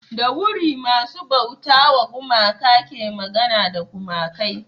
da wuri masu bauta wa gumaka ke magana da gumakai